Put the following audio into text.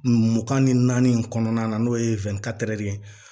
Mugan ni naani kɔnɔna na n'o ye ye